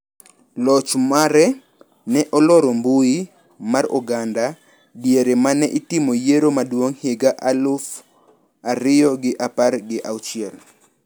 Loch mare ne oloro mbui mar oganda diere ma ne itimo yiero maduong` higa mar aluf ariyo gi apar gi auchiel.